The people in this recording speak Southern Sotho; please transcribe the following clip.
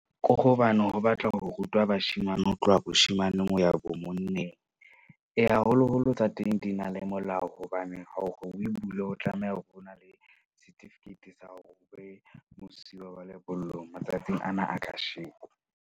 Ko hobane ho batla ho rutwa bashemane ho tloha moshemaneng ho ya bo monneng, haholoholo tsa teng di na le molao. Hobane hore o e bule, o tlameha hore o na le certificate sa hore o be mosuwe wa lebollong matsatsing ana a kasheko.